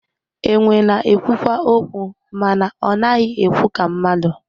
Enwe na-ekwukwa okwu mana ọ naghị ekwu ka mmadụ